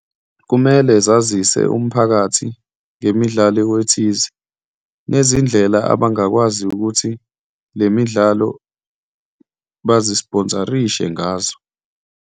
Kumele zazise umphakathi ngemidlalo ethize nezindlela abangakwazi ukuthi le midlalo bazi-sponsor-rishe ngazo.